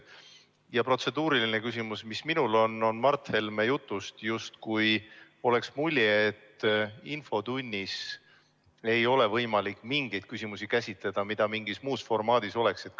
Aga minul on protseduuriline küsimus selle kohta, et Mart Helme jutust jäi mulje, justkui poleks infotunnis võimalik käsitleda mingeid selliseid küsimusi, mida mingis muus formaadis saaks arutada.